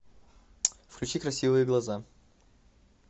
включи красивые глаза